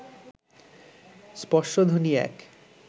স্পর্শধ্বনি এক